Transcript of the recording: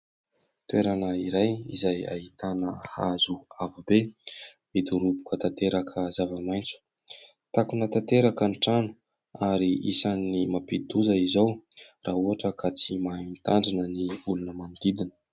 toerana iray izay ahitana hazo avo be midoroboka tanteraka zava-maintso takona tanteraka ny trano ary isan'ny mampidi-doza izao raha ohatra ka tsy mahay mitandrina ny olona manodidina